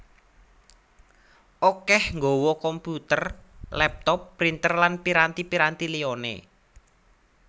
akêh nggawé komputer laptop printer lan piranti piranti liyané